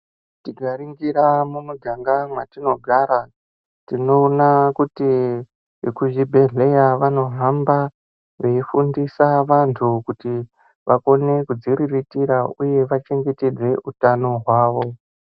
Tikaringira mumiganga mwatinogara, tinoona kuti ekuzvibhedhleya vanohamba veifundisa vantu kuti vakone kudziriritira uye vachengetedze utano hwavo.